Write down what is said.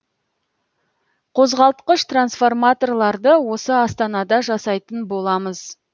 қозғалтқыш трансформаторларды осы астанада жасайтын боламыз